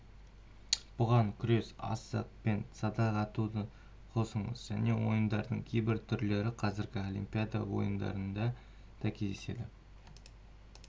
бұған күрес асық пен садақ атуды қосыңыз көне ойындардың кейбір түрлері қазіргі олимпиада ойындарында да кездеседі